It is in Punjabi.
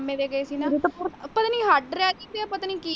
ਮਾਮੇ ਦੇ ਗਏ ਨਾ ਪਤਾ ਨਹੀਂ ਹਡ ਰਹ ਗਈ ਸੀ ਜਾਂ ਪਤਾ ਨਹੀਂ ਕੀ।